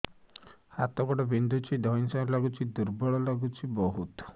ହାତ ଗୋଡ ବିନ୍ଧୁଛି ଧଇଁସଇଁ ଲାଗୁଚି ଦୁର୍ବଳ ଲାଗୁଚି ବହୁତ